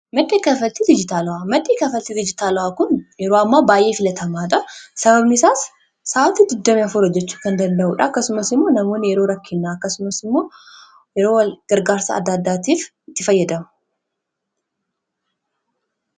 Madda kaffaltii dijitaalaa maddi kaffaltii dijitaalaa kun yeroo ammaa baay'ee filatamaadha. Sababni isaas sa’aatii 24 hojjechuu kan danda'uudha . Akkasumas immoo namoonni yeroo rakkinaa akkasumas immoo yeroo gargaarsa adda addaatiif itti fayyadamu.